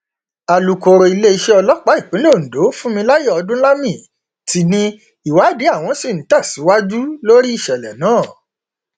alūkọrọ iléeṣẹ ọlọpàá ìpínlẹ ondo funmilayo ọdúnlami ti ní ìwádìí àwọn ṣì ń tẹsíwájú lórí ìṣẹlẹ náà